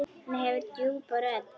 Hann hefur djúpa rödd.